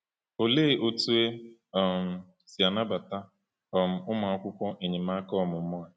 Olee otú e um si anabata um akwụkwọ enyemaka ọmụmụ a?